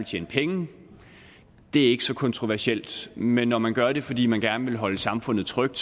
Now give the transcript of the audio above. tjene penge det er ikke så kontroversielt men når man gør det fordi man gerne vil holde samfundet trygt